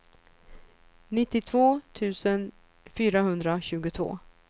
nittiotvå tusen fyrahundratjugotvå